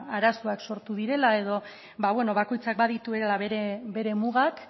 ba arazoak sortu direla edo beno bakoitzak badituela bere mugak